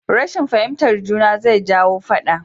Rashin fahimtar juna zai jawo faɗa